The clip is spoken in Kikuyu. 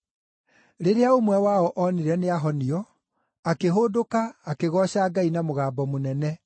Rĩrĩa ũmwe wao onire nĩahonio, akĩhũndũka akĩgooca Ngai na mũgambo mũnene,